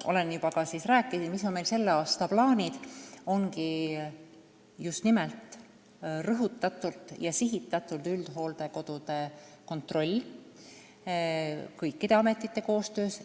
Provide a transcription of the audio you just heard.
juba rääkisin, ongi meil sellel aastal plaanis just rõhutatult ja sihitatult üldhooldekodusid kontrollida kõikide ametite koostöös.